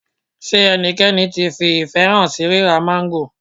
Ṣé ẹnikẹ́ni tí fi ìfẹ́ hàn sí ríra máńgò?